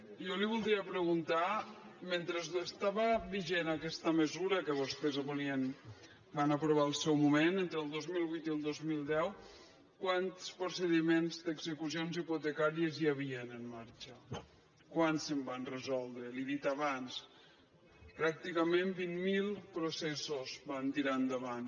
jo li voldria preguntar mentre estava vigent aquesta mesura que vostès van aprovar al seu moment entre el dos mil vuit i el dos mil deu quants procediments d’execucions hipotecàries hi havia en marxa quants se’n van resol·dre li ho he dit abans pràcticament vint mil proces·sos van tirar endavant